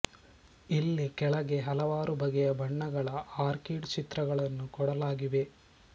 ಇಲ್ಲಿ ಕೆಳಗೆ ಹಲವಾರು ಬಗೆಯ ಬಣ್ಣಗಳ ಆರ್ಕೀಡ್ ಚಿತ್ರಗಳನ್ನು ಕೊಡಲಾಗಿವೆ